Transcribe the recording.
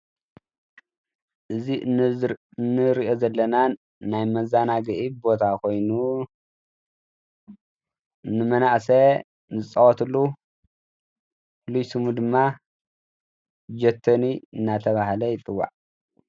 እዚ እንሪኦ ዘለና ናይ መዘናግዒ ቦታ ኮይኑ ንመናእሰይ ዝፃወትሉ ፍሉይ ሽሙ ድማ ጀቶኒ እናተባሃለ ይፅዋዕ፡፡